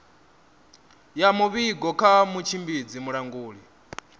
ya muvhigo kha mutshimbidzi mulanguli